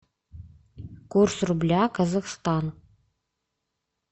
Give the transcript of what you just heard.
курс рубля казахстан